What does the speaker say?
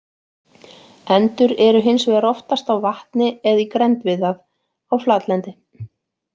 Endur eru hins vegar oftast á vatni eða í grennd við það á flatlendi.